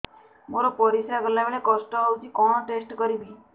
ମୋର ପରିସ୍ରା ଗଲାବେଳେ କଷ୍ଟ ହଉଚି କଣ ଟେଷ୍ଟ କରିବି